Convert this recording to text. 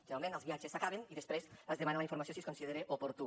generalment els viatges s’acaben i després es demana la informació si es considera oportú